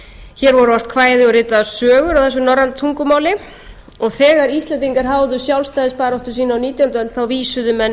voru ort kvæði og ritaðar sögur á þessu norræna tungumáli og þegar íslendingar háðu sjálfstæðisbaráttu sína á nítjándu öld vísuðu menn